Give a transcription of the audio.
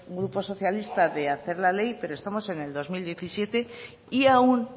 grupo socialista de hacer la ley pero estamos en el dos mil diecisiete y aún